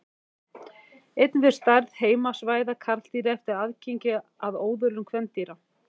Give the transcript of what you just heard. Einnig fer stærð heimasvæða karldýra eftir aðgengi að óðölum kvendýra.